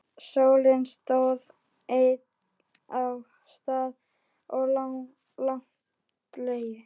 Sónninn stóð enn og gat staðið langa lengi.